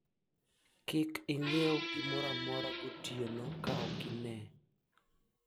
usinunue chochote usiku kama huoni